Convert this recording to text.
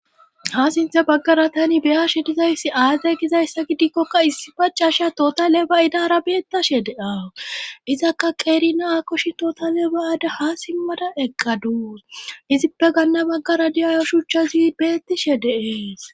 Wa sinthe baggara tani beyashe dizayssi aaze gizayssa gidikkokka issi pacasha tootale ba'idara beettashe deawu izakka qeerina akoshi toota lebaada ha simmada eqqaduus izippe ganna maggara diyayo shuchchazi beettishe deees.